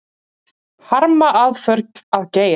Harma aðför að Geir